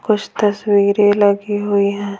कुछ तस्वीरें लगी हुई हैं।